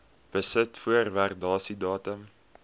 besit voor waardasiedatum